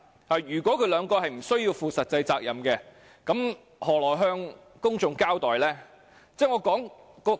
他們兩位若無須負實際責任，如何向公眾交代？